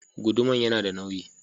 Guduman yana da nauyi.